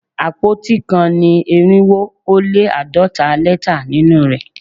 Àpótí kan ní irinwo ó lé àádọ́ta lẹ́tà nínú rẹ̀